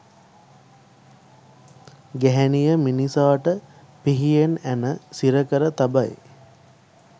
ගැහැණිය මිනිසාට පිහියෙන් ඇණ සිරකර තබයි